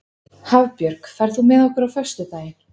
Hafbjörg, ferð þú með okkur á föstudaginn?